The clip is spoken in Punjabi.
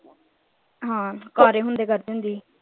ਹਾਂ ਕਵਾਰੇ ਹੁੰਦੇ ਕਰਦੀ ਹੁੰਦੀ ਸੀ।